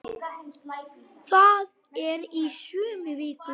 Þetta er í sömu viku!